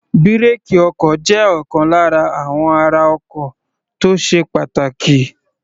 Brake ọkọ̀ jẹ́ ọ̀kan lára àwọn ara ọkọ̀ tó sé pàtàkì.